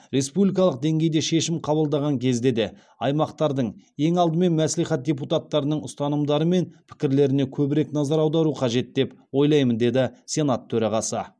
республикалық деңгейде шешім қабылдаған кезде де аймақтардың ең алдымен мәслихат депутаттарының ұстанымдары мен пікірлеріне көбірек назар аудару қажет деп ойлаймын деді сенат төрағасы